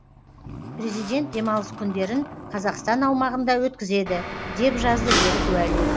президент демалыс күндерін қазақстан аумағында өткізеді деп жазды берік уәли